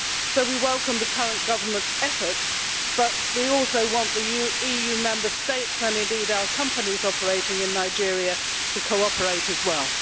So we welcome the current Government's efforts, but we also want the EU Member States, and indeed our companies operating in Nigeria, to cooperate as well.